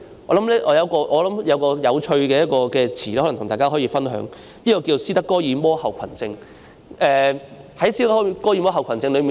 我想起一個有趣的狀況，想跟大家分享，就是斯德哥爾摩症候群。